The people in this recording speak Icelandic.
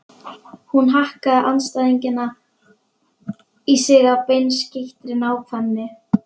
Hún hakkaði andstæðingana í sig af beinskeyttri nákvæmni.